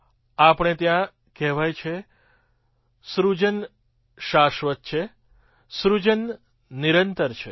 આપણે ત્યાં કહેવાય છે સૃજન શાશ્વત છે સૃજન નિરંતર છે